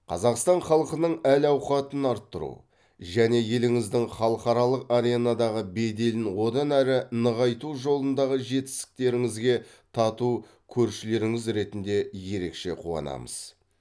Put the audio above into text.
қазақстан халқының әл ауқатын арттыру және еліңіздің халықаралық аренадағы беделін одан әрі нығайту жолындағы жетістіктеріңізге тату көршілеріңіз ретінде ерекше қуанамыз